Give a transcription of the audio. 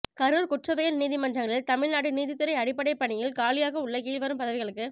கரூர் குற்றவியல் நீதிமன்றங்களில் தமிழ்நாடு நீதித்துறை அடிப்படைப் பணியில் காலியாக உள்ள கீழ்வரும் பதவிகளுக்கு